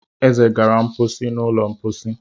Eze gara mposi n'ụlọ mposi.